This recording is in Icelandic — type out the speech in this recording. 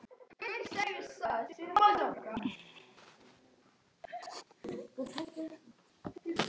Ég spurði hvort hún væri alveg frá sér.